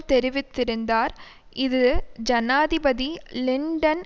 தெரிவித்திருந்தார் இது ஜனாதிபதி லிண்டன்